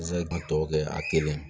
Zatɔw kɛ a kelen